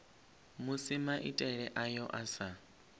musi maitele ayo a sa